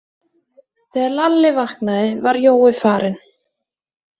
Þegar Lalli vaknaði var Jói farinn.